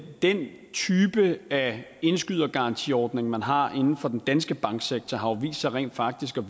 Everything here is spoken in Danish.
den type af indskydergarantiordning man har inden for den danske banksektor rent faktisk jo